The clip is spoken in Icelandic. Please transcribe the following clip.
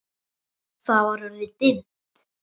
Það var orðið dimmt.